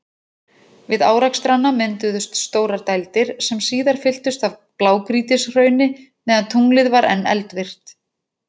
Við árekstrana mynduðust stórar dældir, sem síðar fylltust af blágrýtishrauni meðan tunglið var enn eldvirkt.